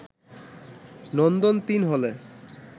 “নন্দন-৩ হলে